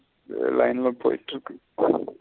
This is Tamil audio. எதோ line ல போயிட்டு இருக்கு.